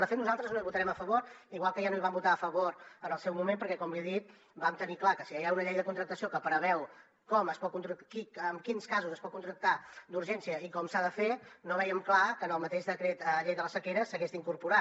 de fet nosaltres no hi votarem a favor igual que ja no hi vam votar a favor en el seu moment perquè com li he dit vam tenir clar que si ja hi ha una llei de contractació que preveu en quins casos es pot contractar d’urgència i com s’ha de fer no vèiem clar que en el mateix decret llei de la sequera s’hagués d’incorporar